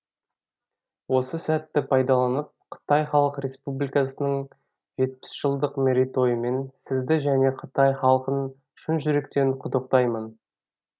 осы сәтті пайдаланып қытай халық республикасын жетпіс жылдық мерейтойымен сізді және қытай халқын шын жүректен құттықтаймын